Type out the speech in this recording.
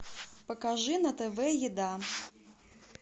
покажи на тв еда